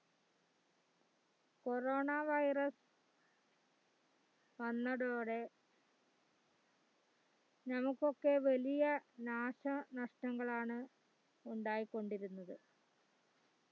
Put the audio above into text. corona virus വന്നതോടെ നമുക്കൊക്കെ വലിയ നാശനഷ്ടങ്ങളാണ് ഉണ്ടായി കൊണ്ടിരുന്നത്